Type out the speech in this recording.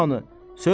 Rəna hanı?